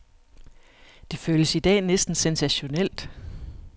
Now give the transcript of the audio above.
Det føles i dag næsten sensationelt.